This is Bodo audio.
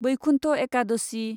बैकुन्ठ एकादशि